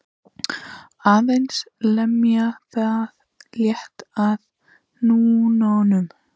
Aðeins lemja það létt með hnúunum.